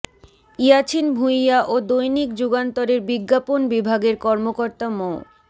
ইয়াছিন ভুঁইয়া ও দৈনিক যুগান্তরের বিজ্ঞাপন বিভাগের কর্মকর্তা মো